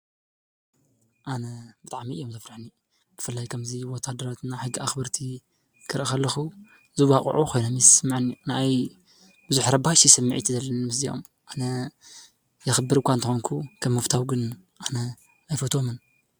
ኣነ ብጣዕሚ እዮም ዘፍርሑኒ። ብፍላይ ኸምዚ ወታደራትና ሕጊ ኣክበርቲ ክርኢ ከለኹ ዝዋቅዑ ኮይኖም ይስመዐኒ። ንዓይ ብዙሕ ረባሺ ስምዒት እዩ ዘለኒ ምስ እዚኦም ፡፡ ኣነ የኸብር እኳ እንተኮንኩ ከም ምፍታው ግን ኣነ ኣይፈትዎምን፡፡